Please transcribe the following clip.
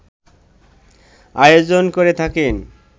আয়োজন করে থাকেন